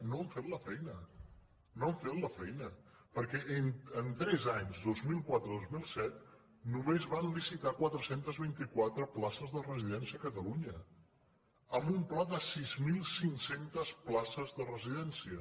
no han fet la feina no han fet la feina perquè en tres anys dos mil quatre a dos mil set només van licitar quatre cents i vint quatre places de residència a catalunya amb un pla de sis mil cinc cents places de re sidència